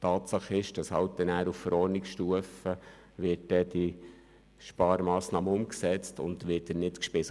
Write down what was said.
Tatsache ist, dass anschliessend auf Verordnungsstufe die Sparmassnahme umgesetzt und der Fonds nicht gespeist wird.